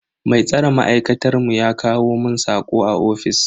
Mai tsare ma'aikatar mu ya kawo mun sako a ofis dina.